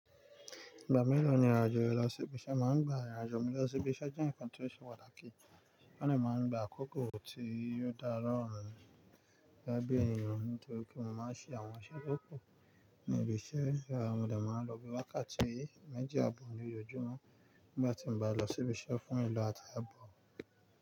Ìgbà mélòó ni ìrìn àjò rẹ lọ sí ibi iṣẹ́ máa ń gba? Ìrìn àjò mi lọ sí ibi iṣẹ́ jẹ́ nǹkan tí ó ṣe pàtàkì, wọ́n dè máa ń gba àkókò tí yóò dára lọ́ọ̀rùn gẹ́gẹ́ bí èèyàn nítorí pé mo máa ń ṣe àwọn iṣẹ́ tó kù ní ibi iṣẹ́. Mo dẹ máa ń lọ bí wákàtí méjì àbọ̀ ní ojoojumọ nígbà tí n bá lọ sí ibi iṣẹ́ fún ìlọ àti abọ.